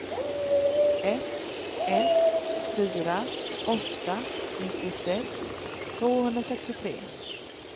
ett ett fyra åtta nittiosex tvåhundrasextiotre